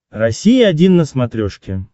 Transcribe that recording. россия один на смотрешке